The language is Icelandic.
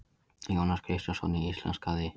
Jónas Kristjánsson íslenskaði.